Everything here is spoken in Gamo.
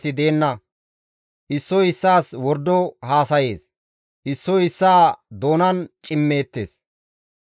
Issoy issaas wordo haasayees; issoy issaa doonan cimmeettes;